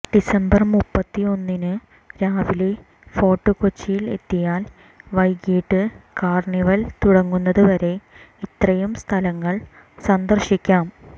December മുപ്പത്തൊന്നിന് രാവിലെ Fort കൊച്ചിയിൽ എത്തിയാൽ വൈകിട്ട് കാർണിവൽ തുടങ്ങുന്നതുവരെ ഇത്രയും സ്ഥലങ്ങൾ സന്ദർശിക്കാം